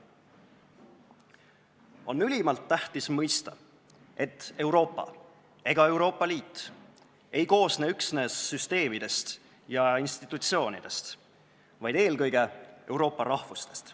On ülimalt tähtis mõista, et Euroopa ega Euroopa Liit ei koosne üksnes süsteemidest ja institutsioonidest, vaid eelkõige Euroopa rahvustest.